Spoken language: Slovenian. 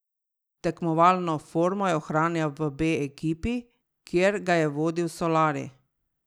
Tekmovalno formo je ohranjal v B ekipi, kjer ga je vodil Solari.